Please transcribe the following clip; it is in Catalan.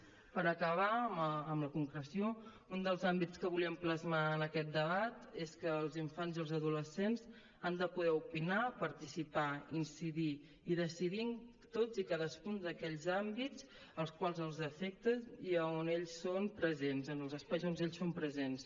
per acabar amb la concreció un dels àmbits que volíem plasmar en aquest debat és que els infants i els adolescents han de poder opinar participar incidir i decidir en tots i cadascun d’aquells àmbits els quals els afecten i on ells són presents en els espais on ells són presents